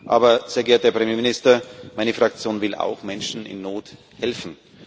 Aber, sehr geehrter Herr Ministerpräsident, meine Fraktion will auch Menschen in Not helfen.